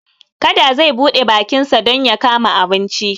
Kada zai buɗe bakinsa don ya kama abinci.